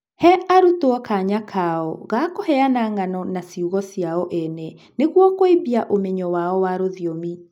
he arutwo kanya kao ga kũheana ng'ano na ciugo ciao ene nĩguo kũimbia ũmenyo wao wa rũthiomi.